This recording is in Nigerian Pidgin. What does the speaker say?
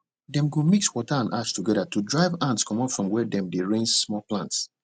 dem go mix water and ash together to drive ants comot from where dem dey raise small plants